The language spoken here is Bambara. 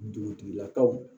Dugutigilakaw